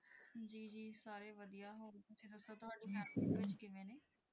ਜੀ ਸਾਰੇ ਵਧੀਆ ਹੋਰ ਤੁਸੀਂ ਦੱਸੋ ਤੁਹਾਡੀ ਫੈਮਿਲੀ ਦੇ ਵਿੱਚ ਕਿਵੇਂ ਨੇ।